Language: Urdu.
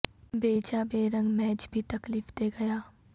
بے جان بے رنگ میچ بھی تکلیف دے گیا